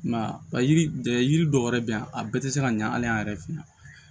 I m'a ye ba yiri dɔw yɛrɛ bɛ yan a bɛɛ tɛ se ka ɲa hali an yɛrɛ fɛ yan